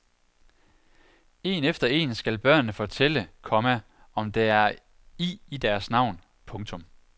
En efter en skal børnene fortælle, komma om der er i i deres navn. punktum